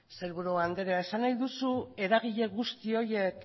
sailburu andrea esan nahi duzu eragile guzti horiek